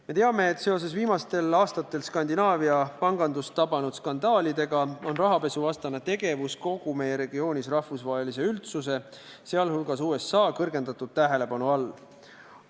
Me teame, et seoses viimastel aastatel Skandinaavia pangandust tabanud skandaalidega on rahapesuvastane tegevus kogu meie regioonis rahvusvahelise üldsuse, sh USA suurema tähelepanu all.